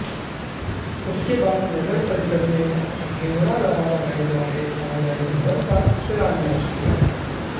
उसके बाद नगर परिषद में हिमुडा द्वारा बनाए जा रहे सामुदायिक भवन का शिलान्यास किया